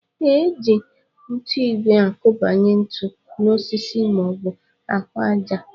Ee, e ji nkụigwe akụbanye ntu n'osisi maọbụ ahụ àjà